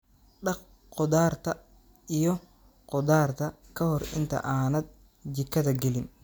Dhaq khudaarta iyo khudaarta ka hor inta aanad jikada gelin.